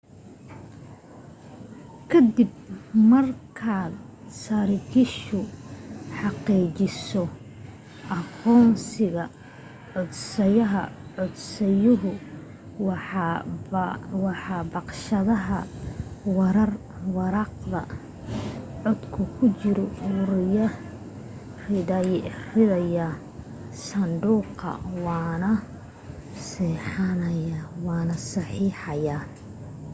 ka dib marka saraakiishu xaqiijiso aqoonsiga codsadaha codsaduhu waxa baqshadda waraaqda codku ku jirto ku ridayaa sanduuqa waanu saxeexayaa